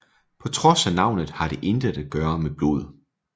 På trods af navnet har det intet at gøre med blod